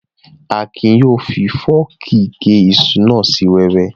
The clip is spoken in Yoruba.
Akin yóò fi fọ́ọ̀kì gé iṣu náà sí wẹ́wẹ́